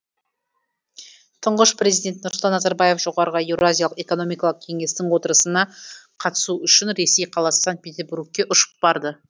тұңғыш президент нұрсұлтан назарбаев жоғарғы еуразиялық экономикалық кеңестің отырысына қатысу үшін ресей қаласы санкт петербургке ұшып барды